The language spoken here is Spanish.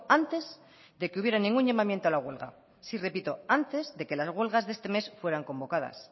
antes de que hubiera ningún llamamiento a la huelga sí repito antes de que las huelgas de este mes fueran convocadas